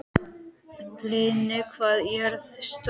Hlini, hvað er jörðin stór?